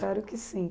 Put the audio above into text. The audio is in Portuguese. Claro que sim.